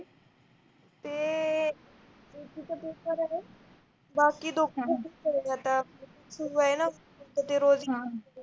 ते